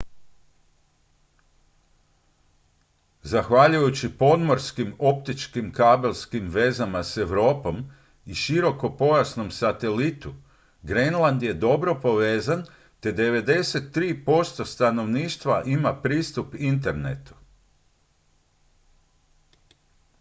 zahvaljujući podmorskim optičkim kabelskim vezama s europom i širokopojasnom satelitu grenland je dobro povezan te 93 % stanovništva ima pristup internetu